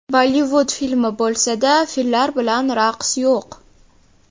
Bollivud filmi bo‘lsa-da, fillar bilan raqs yo‘q.